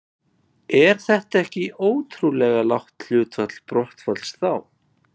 Er það ekki ótrúlega lágt hlutfall brottfalls þá?